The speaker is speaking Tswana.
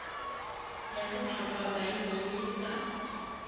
ya setlhopha sa balelapa e